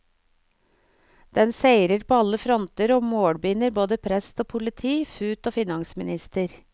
Den seirer på alle fronter og målbinder både prest og politi, fut og finansminister.